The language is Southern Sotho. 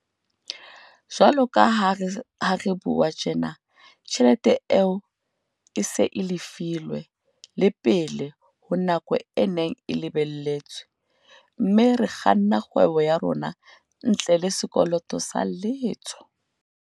Jwalo ka ha re bua tjena, tjhelete eo e se e lefilwe le pele ho nako e neng e lebelletswe, mme re kganna kgwebo ya rona ntle le sekoloto sa letho.